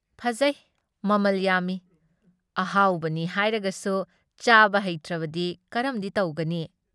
ꯐꯖꯩ, ꯃꯃꯜ ꯌꯥꯝꯃꯤ, ꯑꯍꯥꯎꯕꯅꯤ ꯍꯥꯏꯔꯒꯁꯨ ꯆꯥꯕ ꯍꯩꯇ꯭ꯔꯕꯗꯤ ꯀꯔꯝꯗꯤ ꯇꯧꯒꯅꯤ ꯫